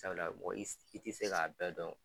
Sabula mɔgɔ i tɛ se k'a bɛɛ dɔn